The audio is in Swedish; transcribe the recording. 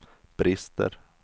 brister